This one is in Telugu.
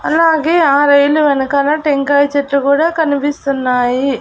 అలాగే ఆ రైలు వెనకాల టెంకాయ చెట్లు కూడా కనిపిస్తున్నాయి.